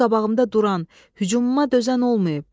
Mənim qabağımda duran, hücumuma dözən olmayıb.